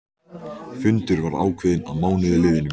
Fundur var ákveðinn að mánuði liðnum.